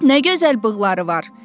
Nə gözəl bığları var!